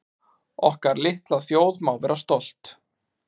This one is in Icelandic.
Okkar litla þjóð má vera stolt